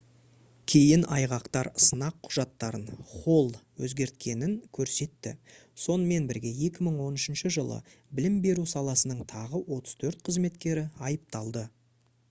кейін айғақтар сынақ құжаттарын холл өзгерткенін көрсетті сонымен бірге 2013 жылы білім беру саласының тағы 34 қызметкері айыпталды